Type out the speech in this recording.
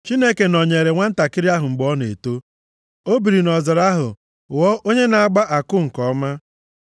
Chineke nọnyeere nwantakịrị ahụ mgbe ọ na-eto. O biri nʼọzara ahụ ghọọ onye na-agba àkụ nke ọma.